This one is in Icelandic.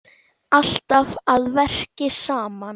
Alltaf að verki saman.